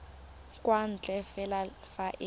kwa ntle fela fa e